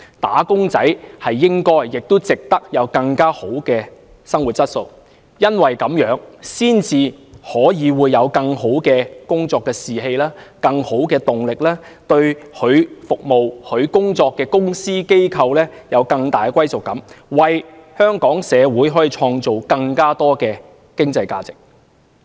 "打工仔"理應享有更好的生活質素，才可以有更佳工作士氣和動力，對其服務的公司、機構有更大歸屬感，為香港社會創造更多經濟價值。